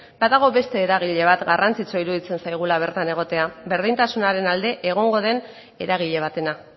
badago eragile bat garrantzitsua iruditzen zaigula bertan egotea berdintasunaren alde egongo den eragile batena